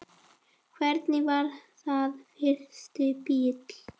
Hvernig var þinn fyrsti bíll?